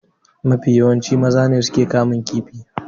Mafi yawanci maza ne suke kamun kifi.